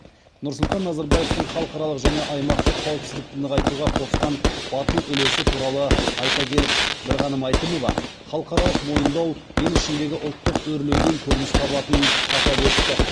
нұрсұлтан назарбаевтың халықаралық және аймақтық қауіпсіздікті нығайтуға қосқан батыл үлесі туралы айта келіп бірғаным әйтімова халықаралық мойындау ел ішіндегі ұлттық өрлеуден көрініс табатынын атап өтті